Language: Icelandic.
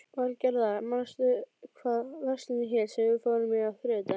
Valgerða, manstu hvað verslunin hét sem við fórum í á þriðjudaginn?